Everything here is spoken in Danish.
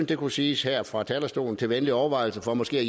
det kunne siges her fra talerstolen til venlig overvejelse for måske at